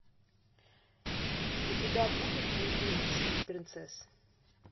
у тебя будет любимец принцесс